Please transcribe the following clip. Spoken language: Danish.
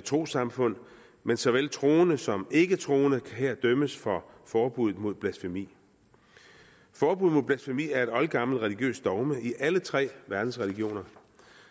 trossamfund men såvel troende som ikketroende kan her dømmes for forbuddet mod blasfemi forbuddet mod blasfemi er et oldgammelt religiøst dogme i alle tre verdensreligioner